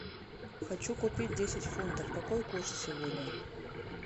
хочу купить десять фунтов какой курс сегодня